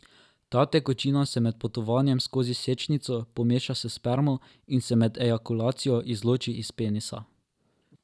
Ta tekočina se med potovanjem skozi sečnico pomeša s spermo in se med ejakulacijo izloči iz penisa.